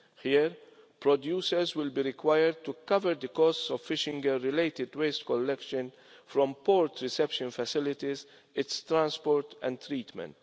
Here, producers will be required to cover the costs of fishing gear related waste collection from port reception facilities, its transport and treatment.